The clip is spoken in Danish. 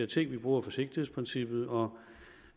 ting at vi bruger forsigtighedsprincippet og